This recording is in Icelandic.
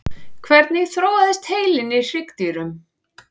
hvernig þróaðist heilinn í hryggdýrum